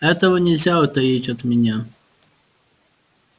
этого нельзя утаить от меня